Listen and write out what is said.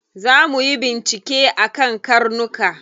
Za muyi bincike akan karnuka.